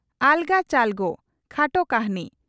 "ᱟᱞᱜᱚ ᱪᱟᱞᱜᱚ" (ᱠᱷᱟᱴᱚ ᱠᱟᱹᱦᱱᱤ)